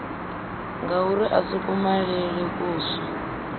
ngauri a si kumalele kuswa